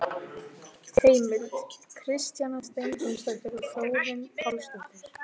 Heimild: Kristjana Steingrímsdóttir og Þórunn Pálsdóttir.